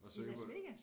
I Las Vegas